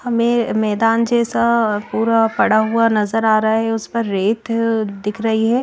हमें मैदान जैसा पूरा पड़ा हुआ नजर आ रहा है उस पर रेत दिख रही है।